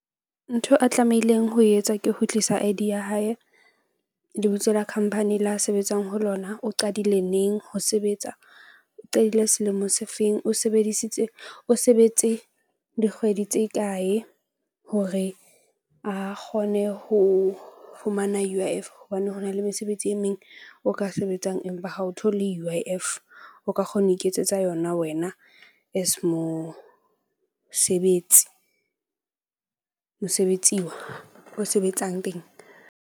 Ntho a tlamehileng ho e etsa ke ho tlisa I_D ya hae. Lebitso la khamphani le a sebetsang ho lona. O qadile neng ho sebetsa, o qadile selemo se feng? O sebedisitse o sebetse dikgwedi tse kae hore a kgone ho fumana U_I_F hobane ho na le mesebetsi e meng o ka sebetsang. Empa ha o thole U_I_F o ka kgona ho iketsetsa yona wena as mosebetsi mosebetsiwa o sebetsang teng.